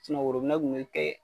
kun bi kɛ.